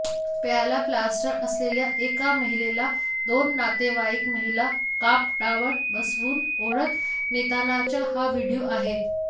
पायाला प्लास्टर असलेल्या एका महिलेला दोन नातेवाईक महिला कापडावर बसवून ओढत नेतानाचा हा व्हिडिओ आहे